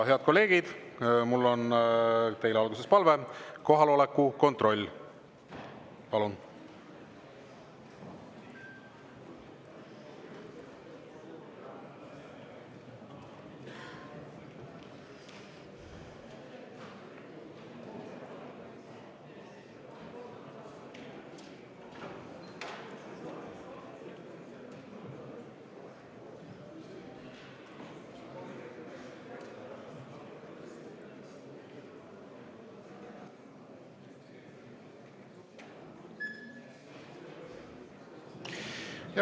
Head kolleegid, mul on teile alguses palve: kohaloleku kontroll, palun!